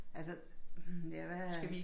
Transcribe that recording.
Altså hm ja hvad